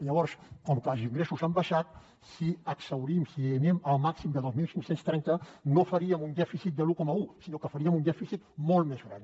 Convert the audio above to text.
llavors com que els ingressos han baixat si exhaurim si anem al màxim de dos mil cinc cents i trenta no faríem un dèficit de l’un coma un sinó que faríem un dèficit molt més gran